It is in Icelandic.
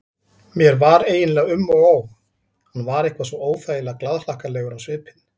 Mér var eiginlega um og ó, hann var eitthvað svo óþægilega glaðhlakkalegur á svipinn.